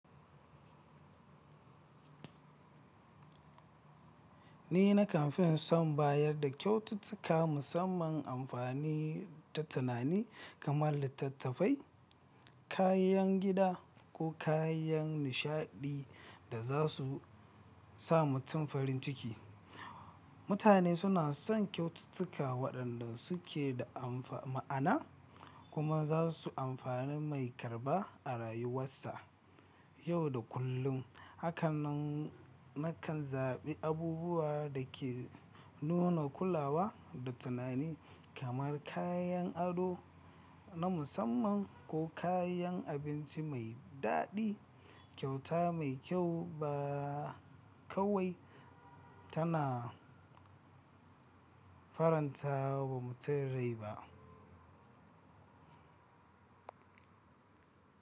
Ni nakan fi son bayar da kyaututtuka musamman na amfani da tunani kamar littattafai, kayan gida ko kayan nishaɗi da za su sa mutum farin ciki. Mutane suna son kyaututtuka waɗanda suke da ma'ana kuma za su amfani mai karɓa a rayuwarsa ta yau da kullum. Hakanan nakan zaɓi abubuwa da ke nuna kulawa da tunani kamar kayan ado na musamman ko kayan abinci mai daɗi. Kyauta mai kyau ba kawai tana faranta wa mutum rai ba.